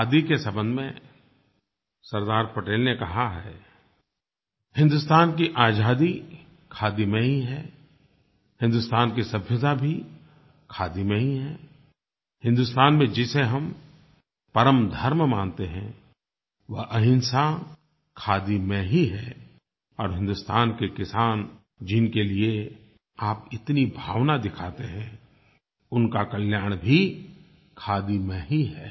खादी के संबंध में सरदार पटेल ने कहा है हिन्दुस्तान की आज़ादी खादी में ही है हिन्दुस्तान की सभ्यता भी खादी में ही है हिन्दुस्तान में जिसे हम परम धर्म मानते हैं वह अहिंसा खादी में ही है और हिन्दुस्तान के किसान जिनके लिए आप इतनी भावना दिखाते हैं उनका कल्याण भी खादी में ही है